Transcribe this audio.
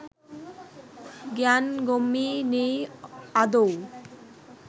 জ্ঞানগম্যি নেই আদৌ